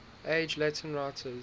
age latin writers